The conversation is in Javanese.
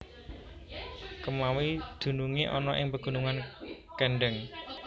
Kemawi dununge ana ing pegunungan Kendheng